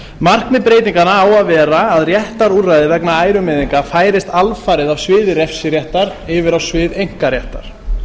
markmið breytinganna á að vera að réttarúrræði vegna ærumeiðinga færist alfarið af sviði refsiréttar yfir á svið einkaréttar